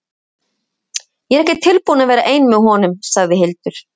Ég er ekki tilbúin að vera ein með honum, sagði Hildur.